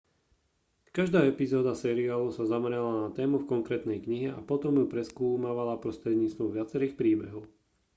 každá epizóda seriálu sa zamerala na tému v konkrétnej knihe a potom ju preskúmala prostredníctvom viacerých príbehov